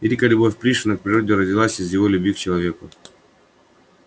великая любовь пришвина к природе родилась из его любви к человеку